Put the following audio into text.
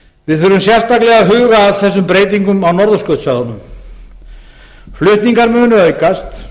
við þurfum sérstaklega að huga að þessum breytingum á norðurskautssvæðunum flutningar munu aukast